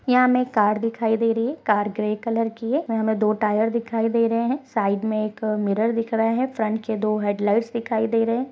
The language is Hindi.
यह हमें कार दिखाई दे रही हैं कार ग्रे कलर की है हमें दो टायर दिखाई दे रहे हैं साइड में एक मिरर दिख रहा है फ्रंट की दो हेडलाइट दिखाई दे रहे है।